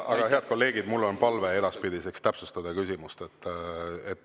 Aga, head kolleegid, mul on palve edaspidiseks: täpsustada küsimust.